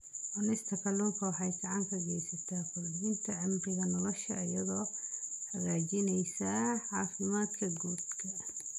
Cunista kalluunka waxay gacan ka geysataa kordhinta cimriga nolosha iyadoo hagaajinaysa caafimaadka guud.